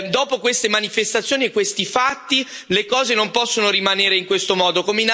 Dopo queste manifestazioni e questi fatti, le cose non possono rimanere in questo modo.